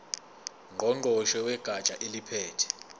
ngqongqoshe wegatsha eliphethe